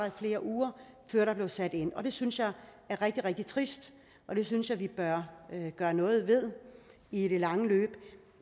i flere uger før der blev sat ind og det synes jeg er rigtig rigtig trist og det synes jeg vi bør gøre noget ved i det lange løb